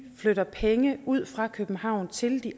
flytter penge ud fra københavn til de